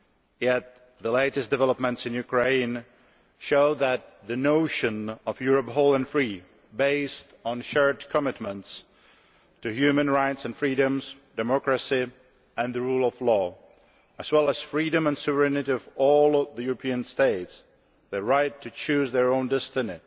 Yet, the latest developments in Ukraine show that the notion of Europe, whole and free, based on shared commitments to human rights and freedoms, democracy and the rule of law, as well as the freedom and sovereignty of all the European states, their right to choose their own destiny